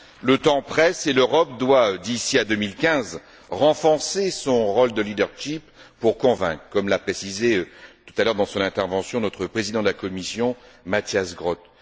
Le temps presse et l'Europe doit, d'ici à 2015, renforcer son rôle moteur pour convaincre, comme l'a précisé tout à l'heure dans son intervention notre président de la commission, Matthias Groote.